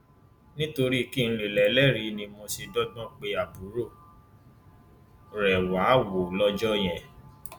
nítorí kí n lè lélẹrìí ni mo ṣe dọgbọn pé àbúrò rẹ wàá wò ó lọjọ yẹn